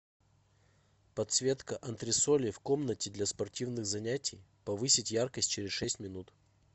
подсветка антресолей в комнате для спортивных занятий повысить яркость через шесть минут